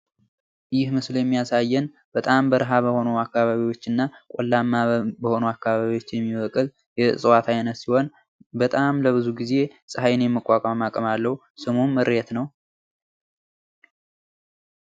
ይህ ምስል የሚያሳየን በጣም በረሀ በሆኑ አከባቢዎች እና ቆላማ በሆኑ አከባቢዎች የሚበቅል የእፅዋት አይነት ሲሆን በጣም ለብዙ ጊዜ ፀሀይን የመቋቋም አቅም አለው። ስሙም እሬት ነው።